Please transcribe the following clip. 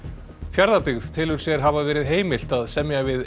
Fjarðabyggð telur sér hafa verið heimilt að semja við